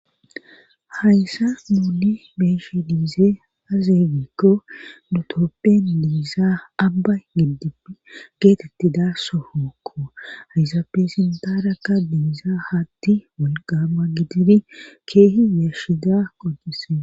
hayssan beeshe diizee azeeygikko nutoppen diizaa abba gidipi geetetti daasso hookko ayzaafe sintarakka diiza hatti wolqama gidini keehi yashida qodise